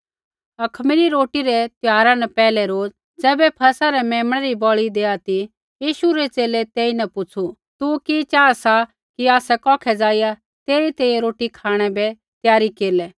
अखमीरी रोटी रै त्यौहारा न पैहलै रोज़ ज़ैबै फसह रै मेमणै री बलि देआ ती यीशु रै च़ेले तेईन पुछ़ू तू कि चाहा सा कि आसै कौखै ज़ाइआ तेरी तैंईंयैं रोटी खाँणै बै तैंईंयैं त्यारी केरलै